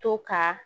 To ka